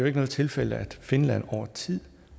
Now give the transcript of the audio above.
ikke noget tilfælde at finland over tid